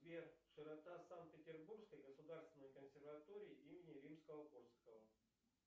сбер широта санкт петербургской государственной консерватории имени римского корсакова